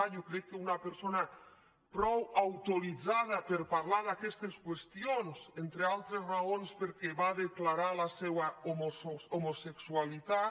jo crec que una persona prou autoritzada per parlar d’aquestes qüestions entre altres raons perquè va declarar la seua homosexualitat